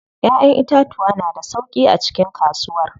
Ƴaƴan itatuwa na da sauƙi a cikin kasuwar.